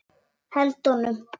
Held honum.